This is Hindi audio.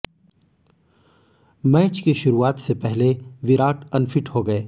मैच की शरुआत से पहले विराट अनफिट हो गए